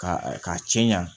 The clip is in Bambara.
Ka k'a cɛɲan